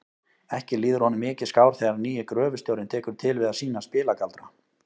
Ekki líður honum mikið skár þegar nýi gröfustjórinn tekur til við að sýna spilagaldra.